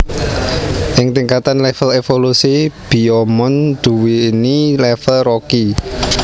Ing tingkatan level evolusi Biyomon duweni level Rookie